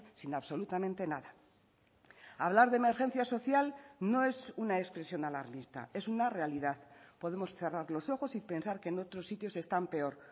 sin absolutamente nada hablar de emergencia social no es una expresión alarmista es una realidad podemos cerrar los ojos y pensar que en otros sitios están peor